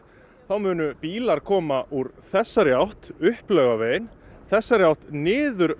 þá munu bílar koma úr þessari átt upp Laugaveginn þessari átt niður